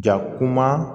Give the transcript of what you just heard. Ja kuma